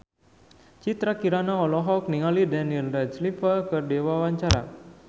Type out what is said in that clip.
Citra Kirana olohok ningali Daniel Radcliffe keur diwawancara